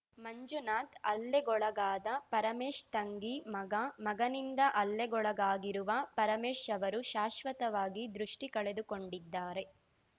ಮಂಜುನಾಥ್‌ ಹಲ್ಲೆಗೊಳಗಾದ ಪರಮೇಶ್‌ ತಂಗಿ ಮಗ ಮಗನಿಂದ ಹಲ್ಲೆಗೊಳಗಾಗಿರುವ ಪರಮೇಶ್‌ ಅವರು ಶಾಶ್ವತವಾಗಿ ದೃಷ್ಟಿಕಳೆದುಕೊಂಡಿದ್ದಾರೆ